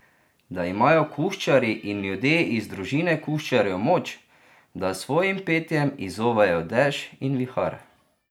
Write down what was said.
Da imajo kuščarji in ljudje iz družine kuščarjev moč, da s svojim petjem izzovejo dež in vihar.